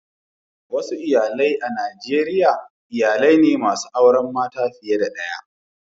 Wasu iyalai a Najeriya iyalai ne masu auren mata fiye da daya.